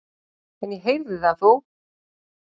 En ég heyrði það þó.